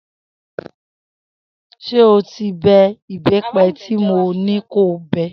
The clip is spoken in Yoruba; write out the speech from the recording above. S̩e o ti be̩ ìbé̩pe̩ tí mo ní kó o be̩?